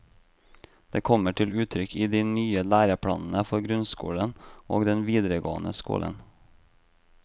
Det kommer til uttrykk i de nye læreplanene for grunnskolen og den videregående skolen.